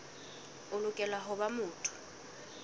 o lokela ho ba motho